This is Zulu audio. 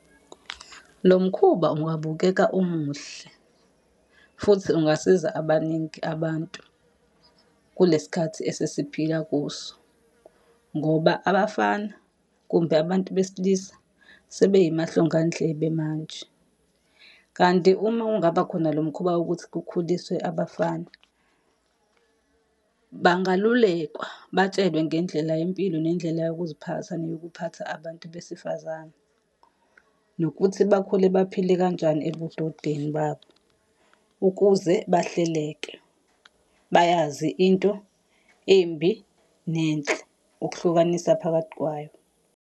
Lo mkhuba ungabukeka umuhle, futhi ungasiza abaningi abantu, kule sikhathi esesiphila kuso ngoba abafana, kumbe abantu besilisa, sebey'amahlongandlebe manje. Kanti uma kungaba khona lo mkhuba wokuthi kukhuliswe abafana, bangalulekwa, batshelwe ngendlela yempilo, nendlela yokuziphatha, neyokuphatha abantu besifazane. Nokuthi bakhule baphile kanjani ebudodeni babo ukuze bahleleke, bayazi into embi nenhle, ukuhlukanisa phakathi kwayo.